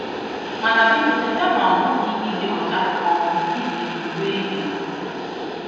Mana biko cheta na ọ bụghị ịdị ọcha um ibiri uwe ibe gị.